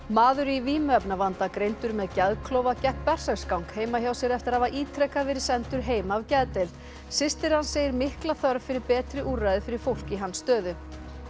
maður í vímuefnavanda greindur með geðklofa gekk berserksgang heima hjá sér eftir að hafa ítrekað verið sendur heim af geðdeild systir hans segir mikla þörf fyrir betri úrræði fyrir fólk í hans stöðu